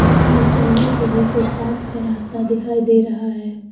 इसमें चलने के लिए फुटपाथ का रास्ता दिखाई दे रहा है।